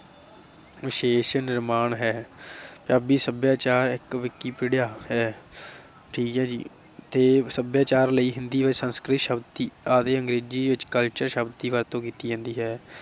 ਵਿਸ਼ੇਸ਼ ਨਿਰਮਾਣ ਹੈ। ਪੰਜਾਬੀ ਸਭਿਆਚਾਰ ਇਕ wikipedia ਹੈ। ਠੀਕ ਆ ਜੀ ਤੇ ਸਭਿਆਚਾਰ ਲਈ ਹਿੰਦੀ ਸੰਸਕ੍ਰਿਤ ਸ਼ਬਦ ਆਦਿ ਅੰਗਰੇਜੀ ਵਿਚ culture ਸ਼ਬਦ ਦੀ ਵਰਤੋਂ ਕੀਤੀ ਜਾਂਦੀ ਹੈ ।